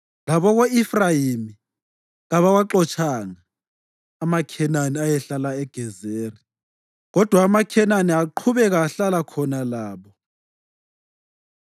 Labako-Efrayimi kabawaxotshanga amaKhenani ayehlala eGezeri, kodwa amaKhenani aqhubeka ehlala khona labo.